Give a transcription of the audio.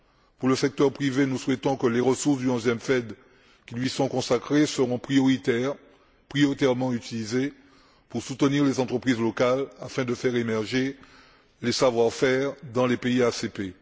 Pour le secteur privé, nous souhaitons que les ressources du 11 e FED qui lui sont consacrées soient prioritairement utilisées pour soutenir les entreprises locales afin de faire émerger les savoir faire dans les pays ACP.